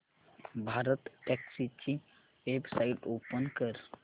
भारतटॅक्सी ची website open कर